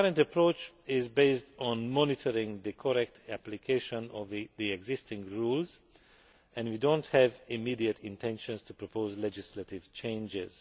Our current approach is based on monitoring the correct application of the existing rules, and we do not have immediate intentions to propose legislative changes.